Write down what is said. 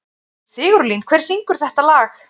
Sigurlín, hver syngur þetta lag?